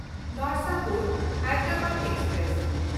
ᱱᱚᱨᱥᱟᱯᱩᱨ–ᱦᱟᱭᱫᱨᱟᱵᱟᱫ express